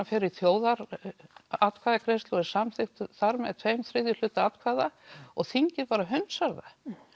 fer í þjóðaratkvæðagreiðslu og er samþykktur þar með tvo þriðju hluta atkvæða og þingið bara hundsar það